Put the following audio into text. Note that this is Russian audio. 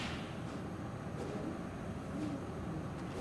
рэдс на ютубе